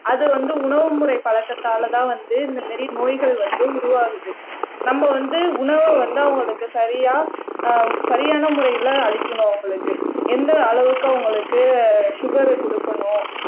அது வந்து உணவுமுறை பழக்கத்தாலதான் வந்து இந்த மாரி நோய்கள் வந்து உருவாகுது நம்ம வந்து உணவை வந்து அவங்களுக்கு சரியா அஹ் சரியான முறையிலே அளிக்கணும் அவங்களுக்கு எந்த அளவுக்கு அவங்களுக்கு சுகர் கொடுக்கணும்